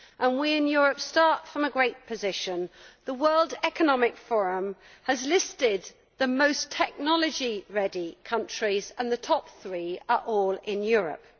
We in Europe start from a great position the World Economic Forum has listed the most technology ready countries and the top three are all in Europe.